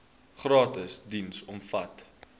gratis diens omvat